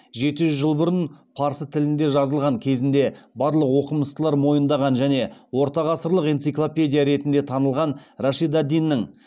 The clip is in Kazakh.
жеті жүз жыл бұрын парсы тілінде жазылған кезінде барлық оқымыстылар мойындаған және ортағасырлық энциклопедия ретінде танылған рашид ад диннің